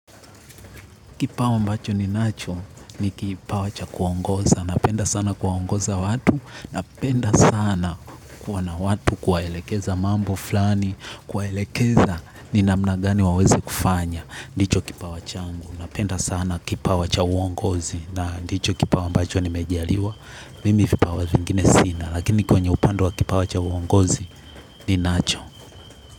Kipawa ambacho ninacho ni kipawa cha kuongoza. Napenda sana kuongoza watu. Napenda sana kuwa na watu kuwaelekeza mambo fulani. Kuwaelekeza ni namna gani waweze kufanya. Ndicho kipawa changu. Napenda sana kipa wacha uongozi. Na ndicho kipawa ambacho nimejaliwa. Mimi vipawa vingine sina. Lakini kwenye upande wa kipawa cha uongozi ninacho.